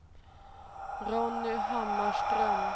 Ronny Hammarström